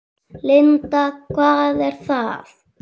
Linda: Hvað er það?